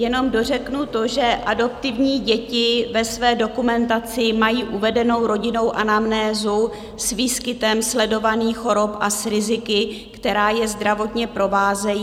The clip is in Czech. Jenom dořeknu to, že adoptované děti ve své dokumentaci mají uvedenou rodinnou anamnézu s výskytem sledovaných chorob a s riziky, která je zdravotně provázejí.